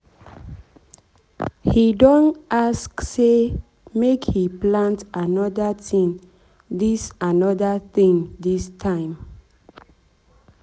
he don ask say make he plant another thing this another thing this time.